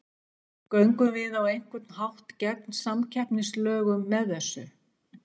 Göngum við á einhvern hátt gegn samkeppnislögum með þessu?